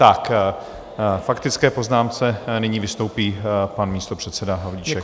Ve faktické poznámce nyní vystoupí pan místopředseda Havlíček.